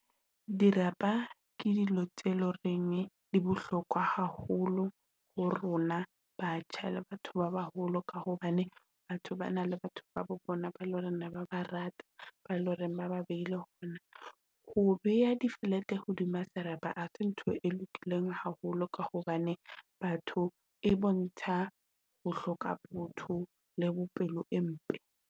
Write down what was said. Dirapa ke dilo tse loreng di bohlokwa haholo ho rona batjha le batho ba baholo, ka hobane batho ba na le batho ba bo bona ba loreng ne ba ba rata, ba loreng ba ba beile . Ho beha di-flat-e hodima serapa ha se ntho e lokileng haholo ka hobane batho e bontsha ho hloka botho le bo pelo e mpe.